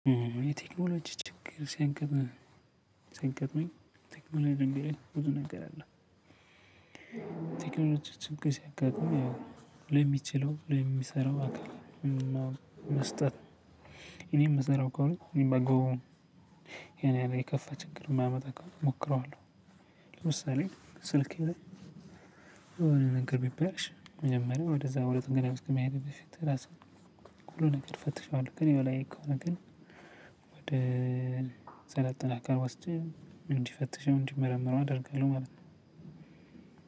የቴክኖሎጂ ችግር ሲያንቀብኝ ቴክኖሎጂ ልንገርህ ብዙ እነግራለሁ። ቴክኖሎጂ ችግር ሲያጋጥም ያው ሊሚችለው ሊሚሰራው አካል መስጠት እኔ የምሰራው ከሆነ እኔ ባግባቡ የኔ ያለ የከፋ ችግር የማያመጣ እኮ እሞክረዋለሁ። ለምሳሌ ስልኬ ላይ የሆነ ነገር ቢባልሽ መጀመሪያ ወደዛ ወደጥገና መሄድ ነው። ሁሉ ነገር ፈትሻለሁ ከኔ በላይ ከሆነ ግን ወደ ሰለጠና አካል ወስጄ እንዲፈትሽው እንዲመረምረው አደርጋለሁ ማለት ነው።